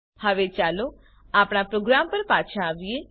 હવે ચાલો આપણા પ્રોગ્રામ પર પાછા આવીએ